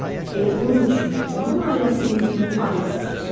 Elə bunun üçün də onun ailəsini günün ailəsi seçdilər.